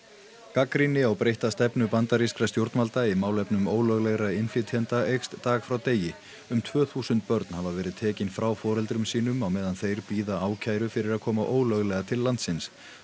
gagnrýni á breytta stefnu bandarískra stjórnvalda í málum ólöglegra innflytjenda eykst dag frá degi um tvö þúsund börn hafa verið tekin frá foreldrum sínum á meðan þeir bíða ákæru fyrir að koma ólöglega til landsins